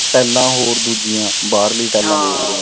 ਟੈਲਾ ਹੋਰ ਦੂਜੀਆਂ ਬਾਹਰੀ ਟੈਲਾ ਬੋਲਦੇ